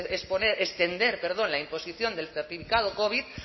extender la imposición del certificado covid